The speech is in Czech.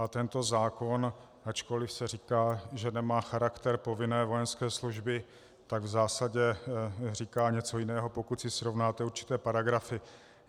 A tento zákon, ačkoliv se říká, že nemá charakter povinné vojenské služby, tak v zásadě říká něco jiného, pokud si srovnáte určité paragrafy.